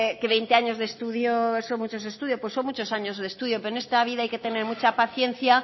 que veinte años de estudios son muchos años de estudio pero en esta vida hay que tener mucha paciencia